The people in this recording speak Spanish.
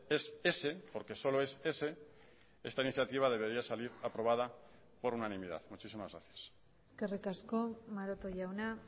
es ese porque solo es ese esta iniciativa debería salir aprobada por unanimidad muchísimas gracias eskerrik asko maroto jauna